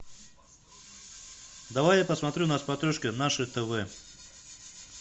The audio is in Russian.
давай я посмотрю на смотрешке наше тв